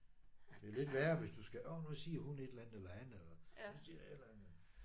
Det lidt værre hvis du skal åh nu siger hun et eller han eller han siger et eller andet